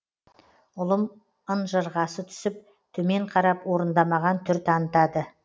ұлым ынжырғасы түсіп төмен қарап орындамаған түр танытады